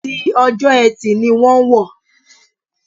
Ti Ọjọ́ Ẹtì ni wọ́n wọ̀.